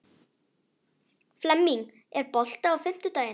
Flemming, er bolti á fimmtudaginn?